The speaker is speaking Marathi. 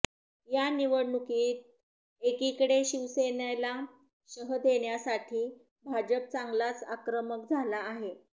या निवडणुकीत एकीकडे शिवसेनेनला शह देण्यासाठी भाजप चांगलाच आक्रमक झाला आहे